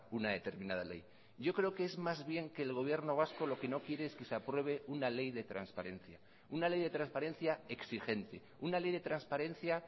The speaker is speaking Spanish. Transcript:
una determinada ley yo creo que es más bien que el gobierno vasco lo que no quiere es que se apruebe una ley de transparencia una ley de transparencia exigente una ley de transparencia